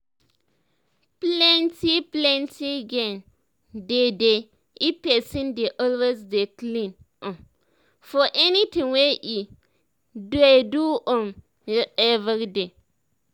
plenti plenti gain dey dey if pesin dey always dey clean um for anything wey e um dey do um everyday